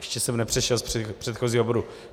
Ještě jsem nepřešel z předchozího bodu.